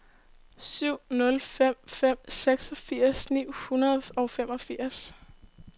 syv nul fem fem seksogfirs ni hundrede og femogfirs